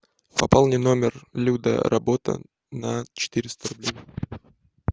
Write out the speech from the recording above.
пополни номер люда работа на четыреста рублей